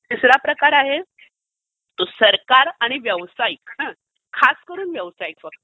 तिसरा प्रकार जो आहे तो सरकार आणि व्यावसायिक. खास करून व्यावसायिक फक्त.